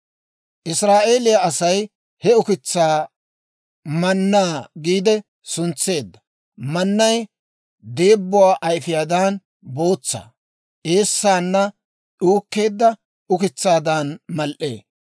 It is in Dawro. Israa'eeliyaa Asay he ukitsaa mannaa giide suntseedda. Mannay deebbuwaa ayfiyaadan bootsa; eessaanna uukkeedda ukitsaadan mal"ee.